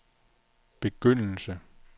begyndelse